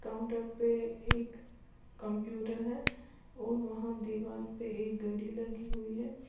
Counter पे एक computer है और वहां दीवार पे एक घड़ी लगी हुई है।